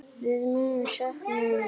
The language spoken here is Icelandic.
Við munum sakna hennar.